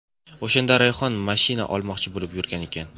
O‘shanda Rayhon mashina olmoqchi bo‘lib yurgan ekan.